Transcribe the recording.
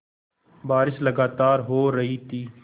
बारिश लगातार हो रही थी